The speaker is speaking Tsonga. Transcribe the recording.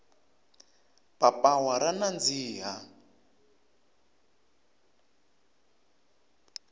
papawa ra nandziha